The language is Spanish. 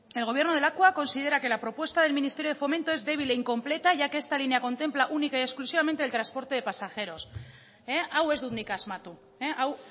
el gobierno de lakua considera que la propuesta del ministerio de fomento es débil e incompleta ya que esta línea contempla única y exclusivamente el transporte de pasajeros hau ez dut nik asmatu hau